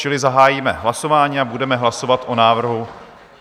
Čili zahájíme hlasování a budeme hlasovat o návrhu.